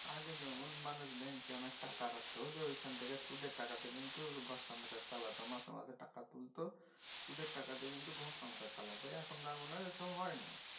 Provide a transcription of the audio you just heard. আগে যেমন মানুষ ব্যাঙ্কে অনেক টাকা রাখত যেখান থেকে সুদের তাকাতে কিন্তু ঘর সংসার চালাত মাসেমাসে টাকা তুলত সুদের তাকাতে কিন্তু ঘর সংসার চালাত এখন আর মনে হয় এসব হয় না।